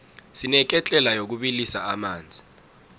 sineketlela yokubilisa amanzi